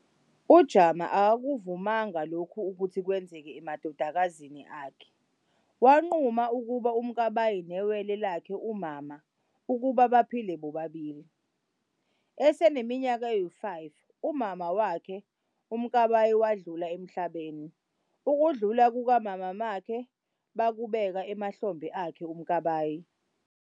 UJama akakuvumananga lokhu ukuthi kwenzeke amadodakazini akhe, wanquma ukuba uMkabayi newele lakhe uMamma ukuba baphile bobabili. Eseneminyaka eyi-5 umama wakhe uMakabayi wadlula emhlabeni, ukudlula kuka mama makhe bakubeka emahlombe akhe Mkabayi.